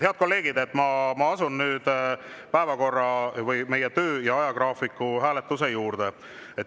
Head kolleegid, ma asun nüüd töö ajagraafiku hääletuse juurde.